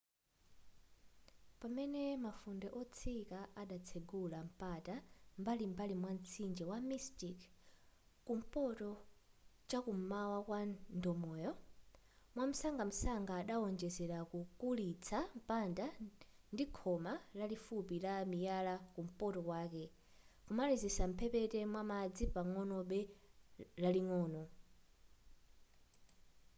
pamene mafunde otsika adatsegula mpata m'mbalim'mbali mwamtsinje wa mystic kumpoto chakum'mawa kwa ndomoyo mwamsangamsanga adaonjezera kukulitsa mpanda ndikhoma lalifupi la miyala kumpoto kwake kumalizira mphepete mwamadzi pagombe laling'ono